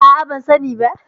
A'a, ban sani ba.